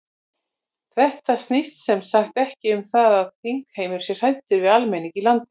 Þetta snýst sem sagt ekki um það að þingheimur sé hræddur við almenning í landinu?